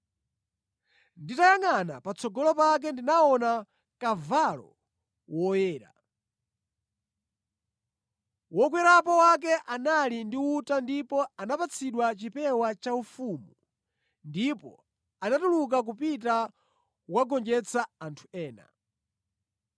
Nditayangʼana patsogolo pake ndinaona kavalo woyera! Wokwerapo wake anali ndi uta ndipo anapatsidwa chipewa chaufumu, ndipo anatuluka kupita kukagonjetsa anthu ena.